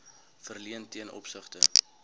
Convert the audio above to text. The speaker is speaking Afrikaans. verleen ten opsigte